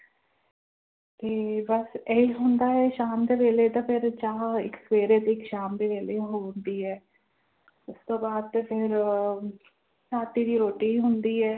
ਤੇ ਬਸ ਇਹੀ ਹੁੰਦਾ ਹੈ ਸ਼ਾਮ ਦੇ ਵੇਲੇ ਤਾਂ ਫਿਰ ਚਾਹ ਇੱਕ ਸਵੇਰੇ ਤੇ ਇੱਕ ਸ਼ਾਮ ਦੇ ਵੇਲੇ ਹੁੰਦੀ ਹੈ ਉਸ ਤੋਂ ਬਾਅਦ ਤਾਂ ਫਿਰ ਰਾਤੀ ਦੀ ਰੋਟੀ ਹੀ ਹੁੰਦੀ ਹੈ।